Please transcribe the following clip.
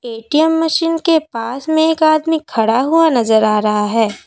ATM machine के पास में एक आदमी खड़ा हुआ नजर आ रहा है।